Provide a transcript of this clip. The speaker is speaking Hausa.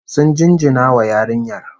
Sun jinjina wa yarinyar